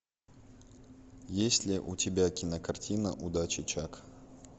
есть ли у тебя кинокартина удачи чак